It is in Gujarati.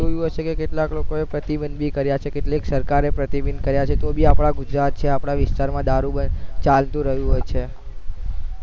જોયું હશે કે કેટલાક લોકો પ્રતિબંધી કર્યા છે કેટલી સરકારે પ્રતિબંધી કર્યા છે તોબી ગુજરાત છે આપના વિસ્તાર માં દારૂ બંધ ચાલતું રહ્યું હોય છે